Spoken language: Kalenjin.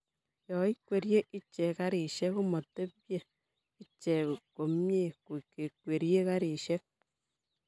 yoikwerie iche karishek komatepche iche komnyei kikwerie karishek